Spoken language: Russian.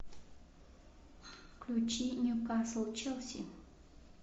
включи ньюкасл челси